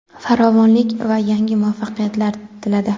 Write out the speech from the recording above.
farovonlik va yangi muvaffaqiyatlar tiladi.